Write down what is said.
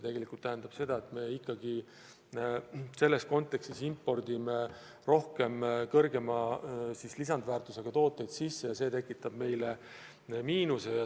See tähendab seda, et me impordime rohkem kõrgema lisandväärtusega tooteid sisse ja see tekitab meile miinuse.